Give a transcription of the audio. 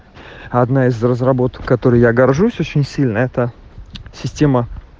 одна из разработок который я горжусь очень сильно это система